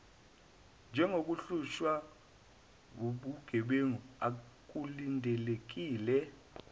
njengomhlushwa wobugebengu akulindelekile